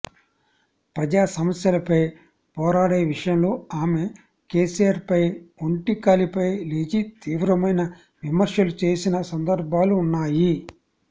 ప్రజా సమస్యలపై పోరాడే విషయంలో ఆమె కేసీఆర్ పై ఒంటి కాలిపై లేచి తీవ్రమైన విమర్శలు చేసిన సందర్భాలు ఉన్నాయి